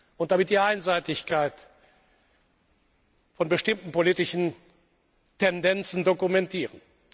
und damit die Einseitigkeit von bestimmten politischen Tendenzen dokumentieren.